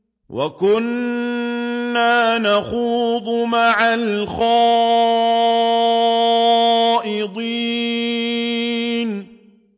وَكُنَّا نَخُوضُ مَعَ الْخَائِضِينَ